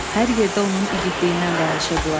Hər yerdə onun igidliyindən danışırdılar.